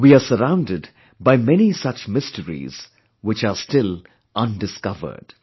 We are surrounded by many such mysteries, which are still undiscovered